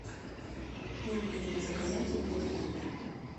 необходимо заказать обед в номер